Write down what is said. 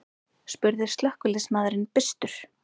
spurði slökkviliðsmaðurinn byrstur.